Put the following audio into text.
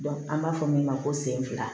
an b'a fɔ min ma ko sen fila